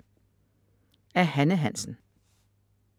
Af Hanne Hansen